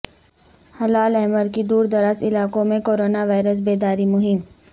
ہلال احمر کی دوردراز علاقوں میں کورونا وائرس بیداری مہم